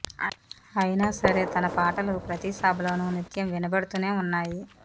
అయినా సరే తన పాటలు ప్రతీ సభలోను నిత్యం వినబడుతూనే ఉన్నాయి